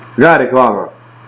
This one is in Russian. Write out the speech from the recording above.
да реклама